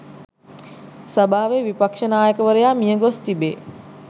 සභාවේ විපක්ෂ නායකවරයා මියගොස් තිබේ.